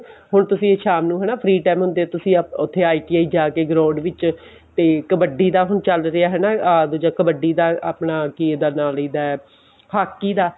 ਹੁਣ ਤੁਸੀਂ ਸ਼ਾਮ ਨੂੰ ਹਨਾ free time ਹੁੰਦੇ ਤੁਸੀਂ ਉੱਥੇ ITI ਜਾਕੇ ground ਵਿੱਚ ਤੇ ਕੱਬਡੀ ਦਾ ਹੁਣ ਚਲ ਰਿਹਾ ਹਨਾ ਅਹ ਦੁੱਜਾ ਕੱਬਡੀ ਦਾ ਆਪਣਾ ਕਿਹਦਾ ਨਾਮ ਲਈ ਦਾ ਹਾਕੀ ਦਾ